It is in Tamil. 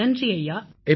நன்றி ஐயா நன்றி